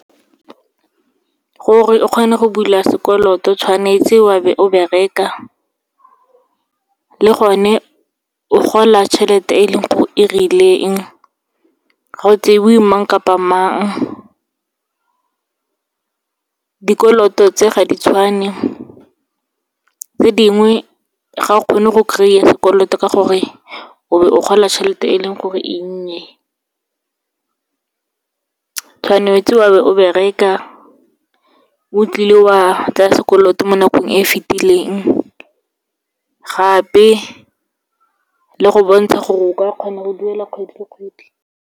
Gore o kgone go bula sekoloto, tshwanetse wa be o bereka le gone o gola tšhelete e leng gore e rileng, ga go tsaiwe mang kapa mang. Dikoloto tse ga di tshwane, tse dingwe ga o kgone go kry-a sekoloto ka gore, o be o gola tšhelete e leng gore e nnye, tshwanetse wa be o bereka, o tlile wa tsaya sekoloto mo nakong e e fetileng. Gape le go bontsha gore o ka kgona go duela kgwedi le kgwedi.